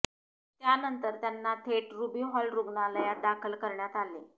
त्यानंतर त्यांना थेट रुबी हॉल रुग्णालयात दाखल करण्यात आले